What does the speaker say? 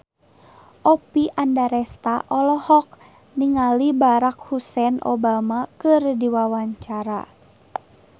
Oppie Andaresta olohok ningali Barack Hussein Obama keur diwawancara